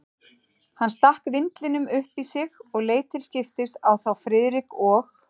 Hann stakk vindlinum upp í sig og leit til skiptis á þá Friðrik og